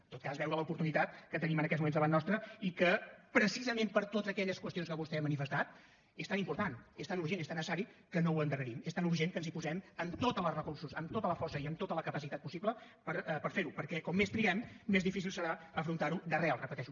en tot cas veure l’oportunitat que tenim en aquests moments davant nostre i que precisament per totes aquelles qüestions que vostè ha manifestat és tan important és tan urgent és tan necessari que no endarrerim és tan urgent que ens hi posem amb tots els recursos amb tota la força i amb tota la capacitat possible per fer ho perquè com més triguem més difícil serà afrontar ho d’arrel ho repeteixo